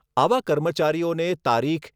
આવા કર્મચારીઓને તારીખ